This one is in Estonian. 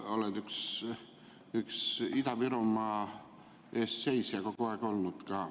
Sa oled üks Ida-Virumaa eest seisja kogu aeg olnud.